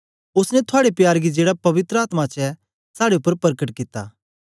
ओसने थुआड़े प्यार गी जेड़ा पवित्र आत्मा च ऐ साड़े उपर परकट कित्ता